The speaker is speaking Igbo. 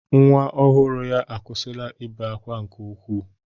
Nwa ọhụrụ ya akwụsịla ibe akwa nke ukwuu.